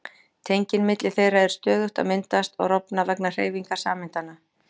Tengin milli þeirra eru stöðugt að myndast og rofna vegna hreyfingar sameindanna.